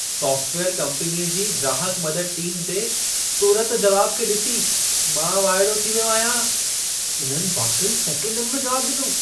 Software कंपनीअ जी ग्राहकु मदद टीम जे तुरत जवाब खे ॾिसी मां वाइड़ो थी वियो आहियां। इन्हनि वाक़ई सेकंडनि में जवाब ॾिनो।